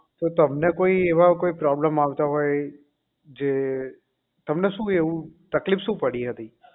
તો તમને એવા કોઈ એવા problem આવતા હોય જે તમને શું એવું તકલીફ શું પડી એવું